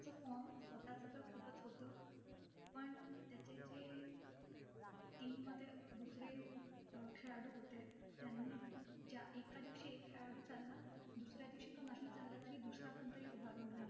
तो form स्वतःच तर खूपचं होतं. पण त्याचे जे team मध्ये दुसरे अं खेळाडू होते, त्यांनी ज्या एका दिवशी एक खेळाडू चालला. दुसऱ्या दिवशी तो नाही चालला तरी दुसरा कोणीतरी उभारून घ्याल.